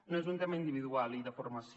no és un tema individual i de formació